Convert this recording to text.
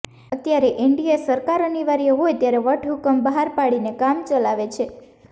અત્યારે એનડીએ સરકાર અનિવાર્ય હોય ત્યારે વટહુકમ બહાર પાડીને કામ ચલાવે છે